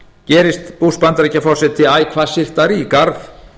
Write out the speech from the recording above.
gerist bush bandaríkjaforseti æ hvassyrtari í garð